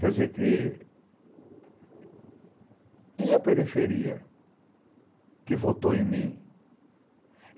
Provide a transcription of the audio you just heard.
Quer dizer que, e a periferia que votou em mim?